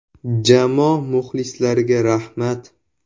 Jamoa muxlislariga rahmat.